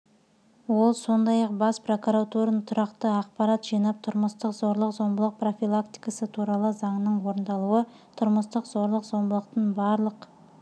ол сондай-ақ бас прокуратураның тұрақты ақпарат жинап тұрмыстық зорлық-зомбылық профилактикасы туралы заңның орындалуы тұрмыстық зорлық-зомбылықтың барлық